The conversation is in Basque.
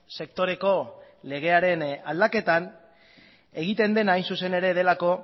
sektoreko legearen aldaketan egiten dena hain zuzen delako